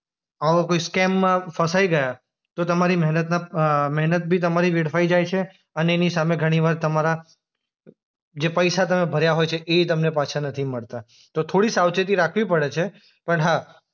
આવો કોઈ સ્કેમમાં ફસાય ગયા તો તમારી મહેનતના અ મહેનત બી તમારી વેડફાય જાય છે અને એની સામે ઘણીવાર તમારા જે પૈસા તમે ભર્યા હોય છે એય તમને પાછા નથી મળતા.